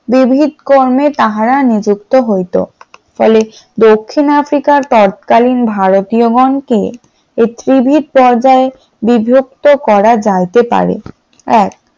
বিবিধ কর্মে তারা নিযুক্ত হইত, ফলে দক্ষিণ আফ্রিকার তৎকালীন ভারতীয় গণ কে টিভির পর্দায় বিজ্ঞপ্তি করা যাইতে পারে ।